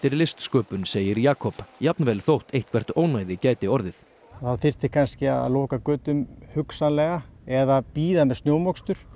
listsköpun segir Jakob jafnvel þótt eitthvert ónæði gæti orðið það þyrfti kannski að loka götum hugsanlega eða bíða með snjómokstur